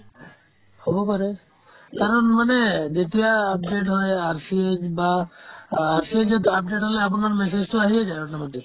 হ'ব পাৰে মানে যেতিয়া update হয় RC য়ে কিবা RC ত যেতিয়া update হ'লে আপোনাৰ message তো আহিয়ে যায় automatic